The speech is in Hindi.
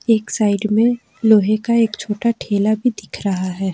एक साइड में लोहे का एक छोटा ठेला भी दिख रहा है।